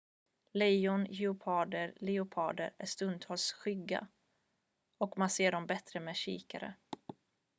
lejon geparder och leoparder är stundtals skygga och man ser dem bättre med kikare